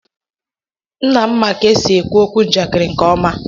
Nna m ma ka esi ekwu okwu njakịrị nke ọma.